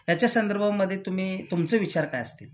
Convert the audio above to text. याच्या संदर्भामध्ये तुम्ही तुमचे विचार काय असतील